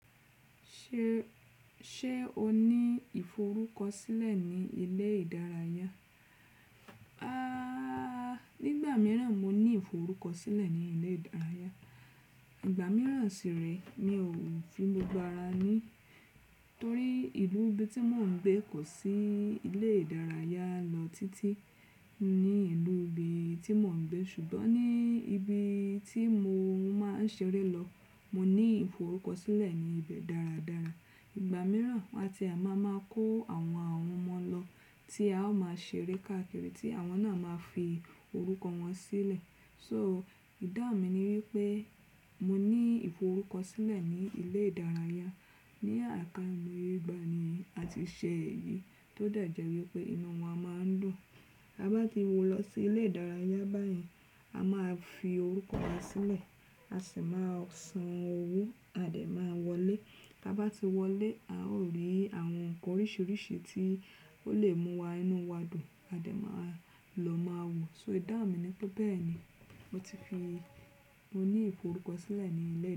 Ṣé, ṣe o ní ìforúkọsílẹ̀ ní ilé ìdárayá? Aaa, nígbà mìíràn mo ní ìforúkọsílẹ̀ ní ilé ìdárayá. Ìgbà mìíràn sì rẹ mi ò fi mo gbára ní, torí ìlú ibi tí mò ń gbé kò sí ilé ìdárayá lọ títí ní ìlú ibi tí mò ń gbé. Ṣùgbọ́n ní ibi tí mo máa ń ṣeré lọ, mo ní ìforúkọsílẹ̀ ní ibẹ̀ dára dára. Ìgbà mìíràn wàtì má máa kó àwọn ọmọ lọ tí a ó máa ṣeré káàkiri tí àwọn náà máa fi orúkọ wọn sílẹ̀. So ìdáàmi ni wípé mo ní ìforúkọsílẹ̀ ní ilé ìdárayá. Ní àká mo ye ìgbà ní a ti ṣe èyí tó dẹ̀ jẹ́ wípé inú wọn a máa ń dùn. Tábá ti wọ̀ n lọ sí ilé ìdárayá báyìí, a máa fi orúkọ wa sílẹ̀, a sì máa san owó a dẹ̀ ma wọlé. Tábá ti wọlé a ó rí àwọn ǹkan oríṣiríṣi tí ó lè mú wa inú wa dùn a dẹ̀ máa lọ máa wò. So ìdáhùn ni pé bẹ́ẹ̀ ni mo ti fi mo ní ìforúkọsílẹ̀ ní ilé ìdá.